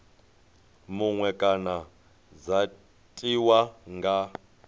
muṅwe kana dza tiwa nga